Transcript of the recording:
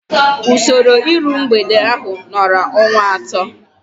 Usoro iru mgbede ahu nọrọ ọnwa atọ